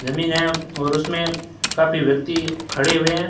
जमीन है और उसमें काफी व्यक्ति खड़े हुए हैं।